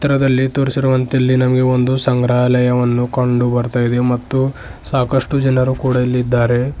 ಚಿತ್ರದಲ್ಲಿ ತೋರಿಸಿರುವಂತೆ ಇಲ್ಲಿ ನಮಗೆ ಒಂದು ಸಂಗ್ರಹಾಲಯವನ್ನು ಕಂಡು ಬರ್ತಾ ಇದೆ ಮತ್ತು ಸಾಕಷ್ಟು ಜನ ಕೂಡ ಇಲ್ಲಿ ಇದ್ದಾರೆ.